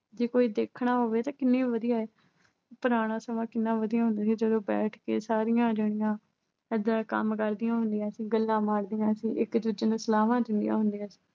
ਜੇ ਕੋਈ ਦੇਖਣਾ ਹੋਵੇ ਤਾਂ ਕਿੰਨੀ ਵਧੀਆ। ਪੁਰਾਣਾ ਸਮਾਂ ਕਿੰਨਾ ਵਧੀਆ ਹੁੰਦਾ ਸੀ, ਜਦੋਂ ਬੈਠ ਕੇ ਸਾਰੀਆਂ ਰੰਨਾਂ ਏਦਾਂ ਕੰਮ ਕਰਦੀਆਂ ਹੁੰਦੀਆਂ ਸੀ, ਗੱਲਾਂ ਮਾਰਦੀਆਂ ਸੀ। ਇੱਕ ਦੂਜੇ ਨੂੰ ਸਲਾਹਾਂ ਦਿੰਦੀਆਂ ਹੁੰਦੀਆਂ ਸੀ।